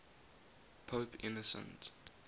pope innocent